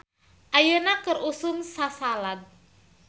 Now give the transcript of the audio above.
"Ayeuna keur usum sasalad "